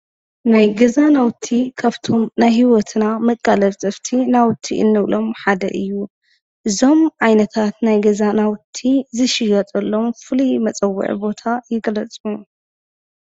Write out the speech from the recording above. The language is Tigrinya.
ናይ ገዛ ናውቲ ካብቶም ናይ ህይወትና መቃላጠፍቲ ናውቲ እንብሎም ሓደ እዩ፡፡ እዞም ዓይነታት ናይ ገዛ ናውቲ ዝሽየጠሎም ፍሉይ መፀውዒ ቦታ ይግለፁ?